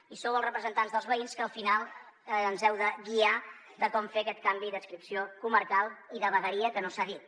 i sou els representants dels veïns els que al final ens heu de guiar en com fer aquest canvi d’adscripció comarcal i de vegueria que no s’ha dit